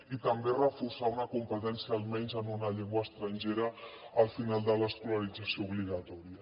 i també reforçar una competència almenys en una llengua estrangera al final de l’escolarització obligatòria